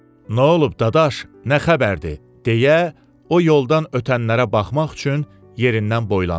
Nə olub Dadaş, nə xəbərdir deyə o yoldan ötənlərə baxmaq üçün yerindən boylandı.